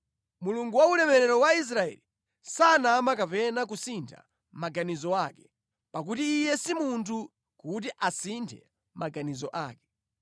Mulungu wa ulemerero wa Israeli sanama kapena kusintha maganizo ake; pakuti iye si munthu, kuti asinthe maganizo ake.”